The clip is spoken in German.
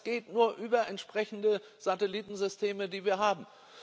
Das geht nur über entsprechende Satellitensysteme die wir haben.